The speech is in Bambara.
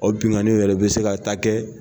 O binaniw yɛrɛ bɛ se ka taa kɛ